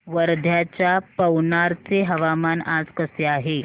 वर्ध्याच्या पवनार चे हवामान आज कसे आहे